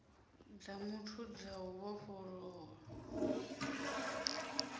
dza muthu dza u vhofholowa